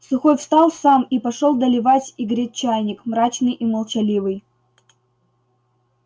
сухой встал сам и пошёл доливать и греть чайник мрачный и молчаливый